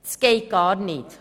Dies geht gar nicht!